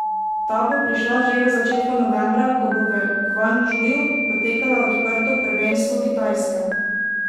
Ta bo prišla že v začetku novembra, ko bo v Gvangdžuju potekalo odprto prvenstvo Kitajske.